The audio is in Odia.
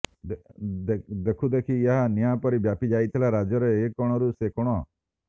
ଦେଖୁଦେଖି ଏହା ନିଆଁ ପରି ବ୍ୟାପି ଯାଇଥିଲା ରାଜ୍ୟର ଏ କୋଣରୁ ସେ କୋଣ